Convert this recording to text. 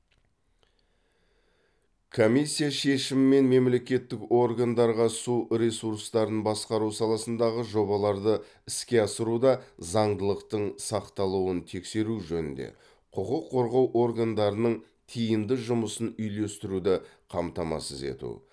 комиссия шешімімен мемлекеттік органдарға су ресурстарын басқару саласындағы жобаларды іске асыруда заңдылықтың сақталуын тексеру жөнінде құқық қорғау органдарының тиімді жұмысын үйлестіруді қамтамасыз ету